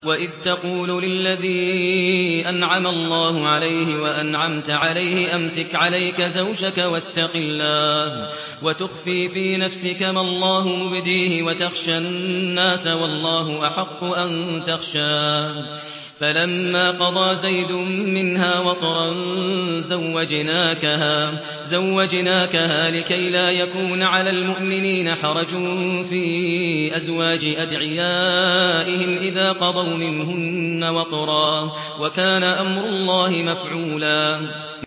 وَإِذْ تَقُولُ لِلَّذِي أَنْعَمَ اللَّهُ عَلَيْهِ وَأَنْعَمْتَ عَلَيْهِ أَمْسِكْ عَلَيْكَ زَوْجَكَ وَاتَّقِ اللَّهَ وَتُخْفِي فِي نَفْسِكَ مَا اللَّهُ مُبْدِيهِ وَتَخْشَى النَّاسَ وَاللَّهُ أَحَقُّ أَن تَخْشَاهُ ۖ فَلَمَّا قَضَىٰ زَيْدٌ مِّنْهَا وَطَرًا زَوَّجْنَاكَهَا لِكَيْ لَا يَكُونَ عَلَى الْمُؤْمِنِينَ حَرَجٌ فِي أَزْوَاجِ أَدْعِيَائِهِمْ إِذَا قَضَوْا مِنْهُنَّ وَطَرًا ۚ وَكَانَ أَمْرُ اللَّهِ مَفْعُولًا